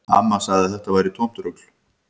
Amma sagði að þetta væri tómt rugl